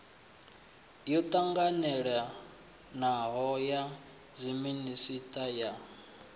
yo ṱanganelanaho ya dziminisiṱa ya